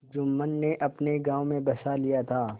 जुम्मन ने अपने गाँव में बसा लिया था